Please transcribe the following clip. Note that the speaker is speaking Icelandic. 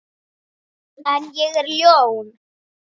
En ég er ljón.